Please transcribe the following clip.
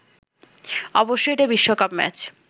অবশ্যই এটা বিশ্বকাপ ম্যাচ